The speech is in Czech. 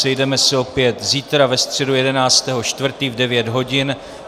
Sejdeme se opět zítra, ve středu 11. 4., v devět hodin.